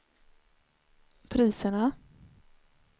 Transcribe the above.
priserna